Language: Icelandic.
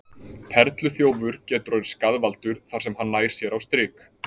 perluþjófur getur orðið skaðvaldur þar sem hann nær sér á strik